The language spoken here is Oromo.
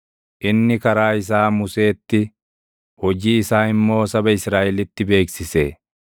Inni karaa isaa Museetti, hojii isaa immoo saba Israaʼelitti beeksise.